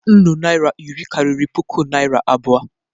Nnụ naira iri karịrị puku naria abụọ.